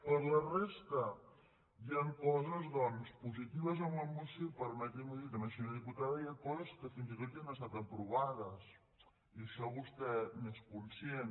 per la resta hi han coses doncs positives en la moció i permetim’ho dir també senyora diputada hi ha coses que fins i tot ja han estat aprovades i d’això vostè n’és conscient